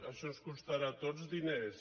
això ens costarà a tots diners